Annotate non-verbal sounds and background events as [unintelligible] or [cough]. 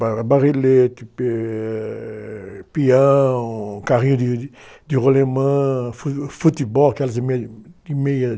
Ba, barrelete, [unintelligible] eh, peão, carrinho de, de rolemã, fu, futebol, aquelas de meia, de meia,